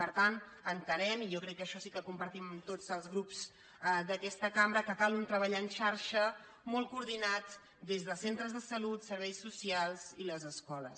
per tant entenem i jo crec que això sí que ho compartim tots els grups d’aques·ta cambra que cal un treball en xarxa molt coordi·nat des de centres de salut serveis socials i les es·coles